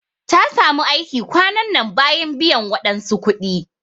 Ta samu aiki kwanan nan bayan biyan wadansu kudi.